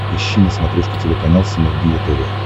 ищи на смотрешке телеканал синергия тв